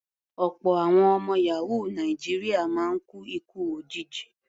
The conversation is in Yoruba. Ọ̀pọ̀ àwọn ọmọ yàhóò Nàìjíríà máa ń kú ikú òjijì.